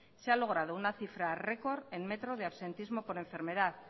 se ha logrado una cifra récord en metro de absentismo por enfermedad